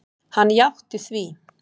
Hann játti því.